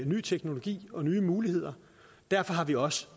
ny teknologi og nye muligheder derfor har vi også